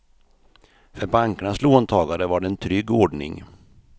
För bankernas låntagare var det en trygg ordning.